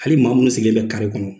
Hali maa minnu sigilen bɛ kare kɔnɔ